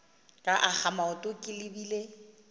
ka akga maoto ke lebile